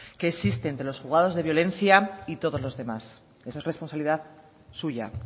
que existe entre los juzgados de violencia y todos los demás eso es responsabilidad suya